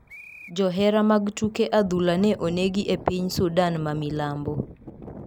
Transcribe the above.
Johera mag tuke adhula ne onegi e piny Sudan ma milambo.